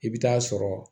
I bɛ taa sɔrɔ